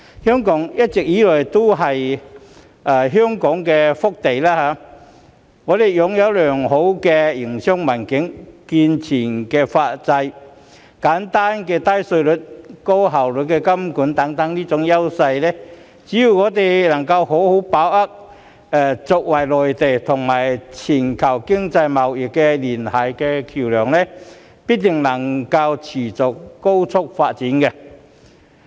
香港一直以來都是一片福地，我們擁有良好的營商環境、健全的司法制度、簡單低稅制、高效金融監管等優勢，只要我們能夠好好把握作為內地與全球經貿聯繫的橋樑，必定能夠持續高速發展。